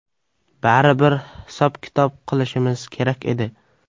Baribir hisob-kitob qilishimiz kerak edi.